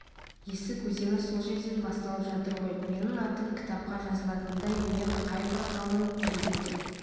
есік өзені сол жерден басталып жатыр ғой менің атым кітапқа жазылатындай мен қайбір ғалым едім деп